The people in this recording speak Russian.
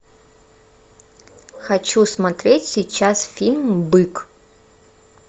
хочу смотреть сейчас фильм бык